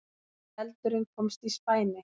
Eldurinn komst í spæni